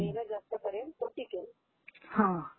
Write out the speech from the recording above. मेहनत जास्त करेल तो टिकेल..हा..